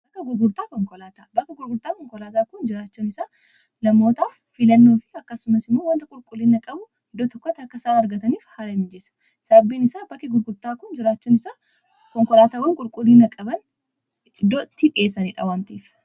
Bakka gurgurtaa konkolaataa kun jiraachun isaa namootaaf fiilannoo fi akkasumas immoo wanta qulqulliinna qabu iddoo tokkota akka isaan argataniif haala mijeessa sababbiin isaa bakke gurgurtaa konkolaataawwan qulqullina qaban iddoo itti dhiyeesaniidha.